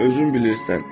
Özün bilirsən.